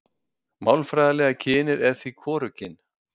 Málfræðilega kynið er því hvorugkyn.